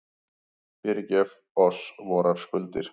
Fyrirgef oss vorar skuldir,